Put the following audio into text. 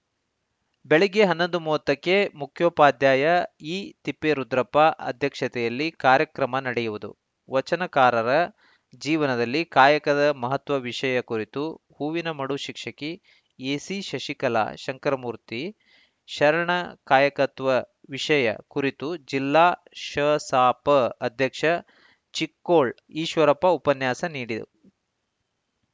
ಬೆಳಗ್ಗೆ ಹನ್ನೊಂದು ಮೂವತ್ತಕ್ಕೆ ಮುಖ್ಯೋಪಾಧ್ಯಾಯ ಈತಿಪ್ಪೇರುದ್ರಪ್ಪ ಅಧ್ಯಕ್ಷತೆಯಲ್ಲಿ ಕಾರ್ಯಕ್ರಮ ನಡೆಯುವುದು ವಚನಕಾರರ ಜೀವನದಲ್ಲಿ ಕಾಯಕದ ಮಹತ್ವ ವಿಷಯ ಕುರಿತು ಹೂವಿನಮಡು ಶಿಕ್ಷಕಿ ಎಸಿಶಶಿಕಲಾ ಶಂಕರಮೂರ್ತಿ ಶರಣ ಕಾಯಕತ್ವ ವಿಷಯ ಕುರಿತು ಜಿಲ್ಲಾ ಶಸಾಪ ಅಧ್ಯಕ್ಷ ಚಿಕ್ಕೋಳ್‌ ಈಶ್ವರಪ್ಪ ಉಪನ್ಯಾಸ ನೀಡಿದ